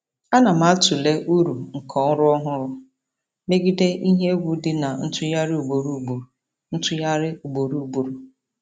Ana m atụle uru nke ọrụ ọhụrụ megide ihe egwu dị na ntụgharị ugboro ugboro. ntụgharị ugboro ugboro.